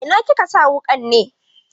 A ina kika sa wuƙan ne?